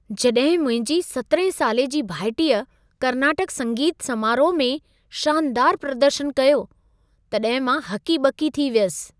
जॾहिं मुंहिंजी 17 साले जी भाइटीअ कर्नाटक संगीत समारोह में शानदार प्रदर्शन कयो, तॾहिं मां हकी ॿकी थी वियसि।